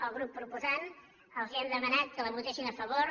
al grup proposant els hem demanat que la votessin a favor